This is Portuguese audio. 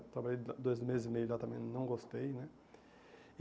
Trabalhei do dois meses e meio e já também não gostei, né?